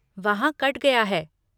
वहाँ कट गया है।